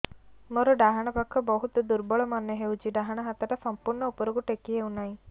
ମୋର ଡାହାଣ ପାଖ ବହୁତ ଦୁର୍ବଳ ମନେ ହେଉଛି ଡାହାଣ ହାତଟା ସମ୍ପୂର୍ଣ ଉପରକୁ ଟେକି ହେଉନାହିଁ